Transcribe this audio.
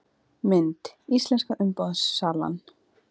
Mynd: Íslenska umboðssalan